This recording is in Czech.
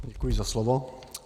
Děkuji za slovo.